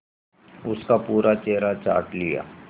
उसका पूरा चेहरा चाट लिया